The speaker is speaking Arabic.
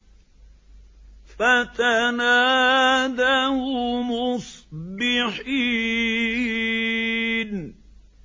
فَتَنَادَوْا مُصْبِحِينَ